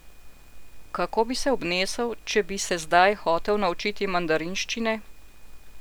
Kako bi se obnesel, če bi se zdaj hotel naučiti mandarinščine?